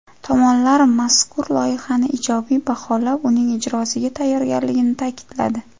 Tomonlar mazkur loyihani ijobiy baholab, uning ijrosiga tayyorligini ta’kidladi.